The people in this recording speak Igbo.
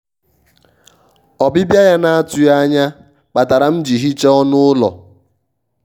ọbịbịa ya na-atụghị anya kpatara m ji hichaa ọnụ ụlọ.